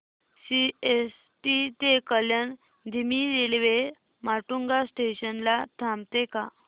CST ते कल्याण धीमी railway Matunga station ला थांबते का